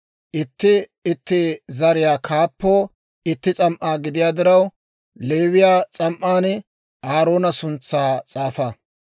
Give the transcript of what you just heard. Itti itti zariyaa kaappoo itti s'am"aa gidiyaa diraw, Leewiyaa s'am"an Aaroona suntsaa s'aafa.